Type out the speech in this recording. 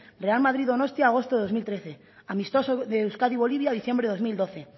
real madrid donostia agosto del dos mil trece amistoso de euskadi bolivia diciembre del dos mil doce